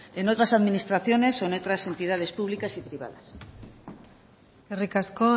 en otras administraciones o en otras entidades públicas y privadas eskerrik asko